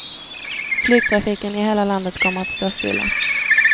Flygtrafiken i hela landet kommer att stå stilla.